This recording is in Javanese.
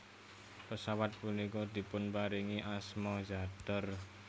Pesawat punika dipunparingi asma Zadar